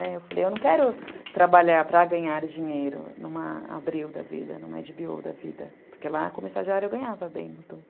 É, eu falei, eu não quero trabalhar para ganhar dinheiro numa Abril da vida, numa agá bê ó da vida, porque lá, como estagiária, eu ganhava bem nos dois.